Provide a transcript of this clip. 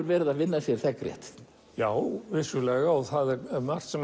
verið að vinna sér þegnrétt já vissulega og það er margt sem